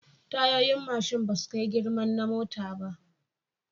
Tayoyin mashin basu kai girman na mota ba